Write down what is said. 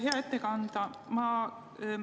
Hea ettekandja!